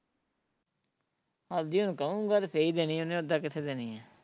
ਅੱਜ ਈ ਉਹਨੂੰ ਕਹੁਗਾ ਤੇ ਫੇਰ ਈ ਦੇਣੀ ਉਹਨੇ ਉਦਾ ਕਿੱਥੇ ਦੇਣੀ ਐ